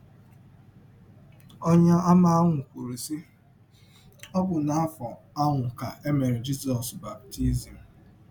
Ọnyeàmà ahụ kwụrụ, sị, “ Ọ bụ n’afọ ahụ ka e mere Jizọs baptizim. ”